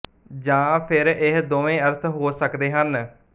ਜਾਂ ਫਿਰ ਇਹ ਦੋਵੇਂ ਅਰਥ ਹੋ ਸਕਦੇ ਹਨ